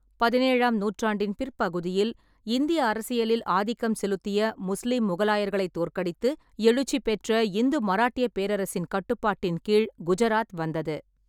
பதினேழாம் நூற்றாண்டின் பிற்பகுதியில், இந்திய அரசியலில் ஆதிக்கம் செலுத்திய முஸ்லீம் முகலாயர்களைத் தோற்கடித்து எழுச்சி பெற்ற இந்து மராட்டியப் பேரரசின் கட்டுப்பாட்டின் கீழ் குஜராத் வந்தது.